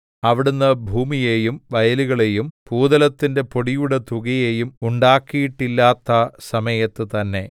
അവിടുന്ന് ഭൂമിയെയും വയലുകളെയും ഭൂതലത്തിന്റെ പൊടിയുടെ തുകയെയും ഉണ്ടാക്കിയിട്ടില്ലാത്ത സമയത്ത് തന്നെ